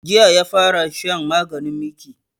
Jiya ne ya fara shan maganin miki